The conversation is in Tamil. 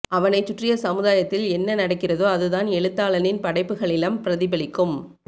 அவனைச் சுற்றிய சமதாயத்தில் என்ன நடக்கிறதோ அதுதான் எழுத்தானனின் படைப்புக்களிலம் பிரதிபலிக்கும்